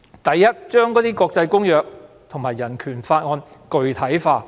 第一，要將國際公約和人權法具體化。